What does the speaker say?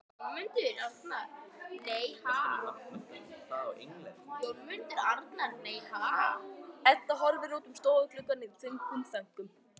Edda horfir út um stofugluggann í þungum þönkum.